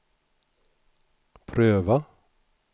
pröva